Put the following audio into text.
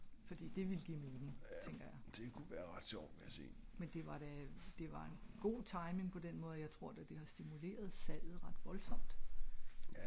jaer det ku være ret sjovt vil jeg sige